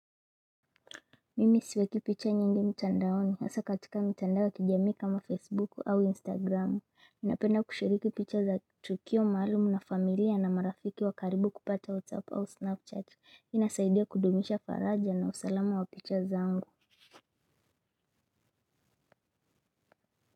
Mimi siweki picha nyingi mtandaoni, hasa katika mtandao wa kijamii kama Facebook au Instagram. Napenda kushiriki picha za tukio maalum na familia na marafiki wa karibu kupata WhatsApp au Snapchat. Inasaidia kudumisha faraja na usalama wa picha zangu.